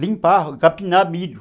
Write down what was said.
Limpar, capinar milho.